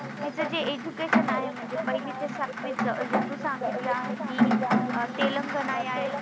तीच जे education आहे म्हणजे पहिले ते सातवीच जे तू सांगितल आहे कि तेलंगणा या ए